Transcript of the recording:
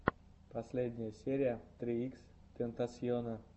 последняя серия три икс тентасьона